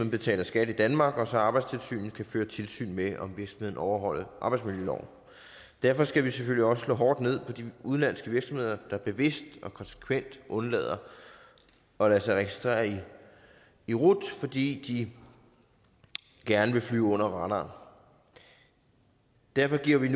betaler skat i danmark og så arbejdstilsynet kan føre tilsyn med om virksomheden overholder arbejdsmiljøloven derfor skal vi selvfølgelig også slå hårdt ned på de udenlandske virksomheder der bevidst og konsekvent undlader at lade sig registrere i rut fordi de gerne vil flyve under radaren derfor giver vi